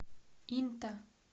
инта